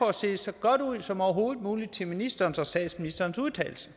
at se så godt ud som overhovedet muligt til ministerens og statsministerens udtalelser